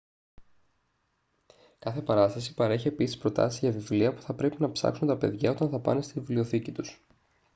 κάθε παράσταση παρέχει επίσης προτάσεις για βιβλία που θα πρέπει να ψάξουν τα παιδιά όταν θα πάνε στη βιβλιοθήκη τους